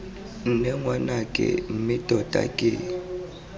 nne ngwanake mme tota ke